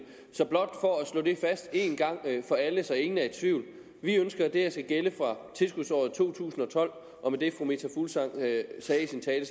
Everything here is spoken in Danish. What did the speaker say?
så blot for at slå fast en gang for alle så ingen er i tvivl vi ønsker at det her skal gælde fra tilskudsåret to tusind og tolv og med det fru meta fuglsang sagde i sin tale